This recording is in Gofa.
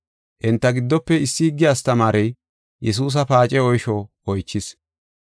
Enta giddofe issi higge astamaarey Yesuusa paace oysho oychis.